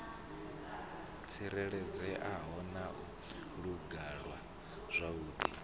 tsireledzeaho na u langulwa zwavhudi